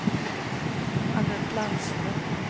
Anette Landström